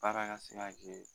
Baara ka se ka kɛ